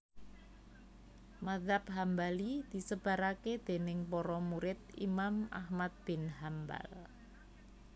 Mazhab Hambali disebaraké déning para murid Imam Ahmad bin Hambal